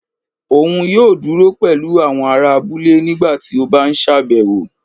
òun yóò dúró pẹlú àwọn ará abúlé nígbà ti ọ n bá sábéwọ